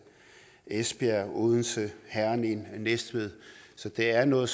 esbjerg odense herning og næstved så det er noget